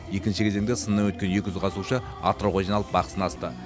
екінші кезеңде сыннан өткен екі жүзге қатысушы атырауға жиналып бақ сынасты